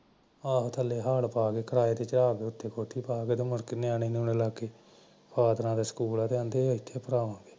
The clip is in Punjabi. ਆਹੋ ਥਲੇ ਹਾਲ਼ ਪਾ ਕੇ ਕਿਰਾਏ ਤੇ ਚਾੜ ਦੋ ਤੇ ਕੋਠੀ ਪਾ ਕ ਤੇ ਮੁੜ ਨਿਆਣੇ ਨਿਉਓਨੇ ਲਗ ਗੇ ਪਾਦਰਾਂ ਦਾ ਸਕੂਲ ਆ ਤੇ ਅਹੰਦੇ ਏਥੇ ਪੜਾਓ